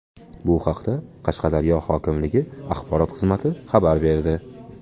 Bu haqda Qashqadaryo hokimligi axborot xizmati xabar berdi.